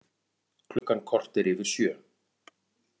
Klukkan korter yfir sjö